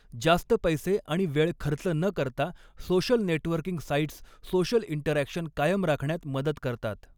जास्त पैसे आणि वेळ खर्च न करता social networking sites social interaction कायम राखण्यात मदत करतात.